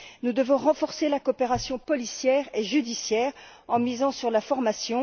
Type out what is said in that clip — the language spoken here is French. Nous devons renforcer la coopération policière et judiciaire en misant sur la formation.